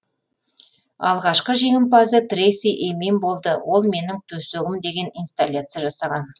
алғашқы жеңімпазы трейси эмин болды ол менің төсегім деген инсталляция жасаған